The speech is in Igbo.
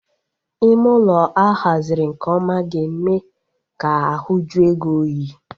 Ime ụlọ a haziri nke ọma ga-eme ka ahu jue gị oyi